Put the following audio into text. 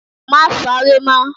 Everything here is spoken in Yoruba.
Má sáré mọ́